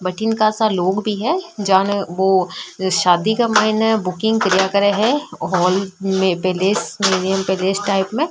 बठन कासा लोग भी है जो शादी के मईने बुकिंग करिया करे है और में प्लेस मेन प्लेस टाइप में --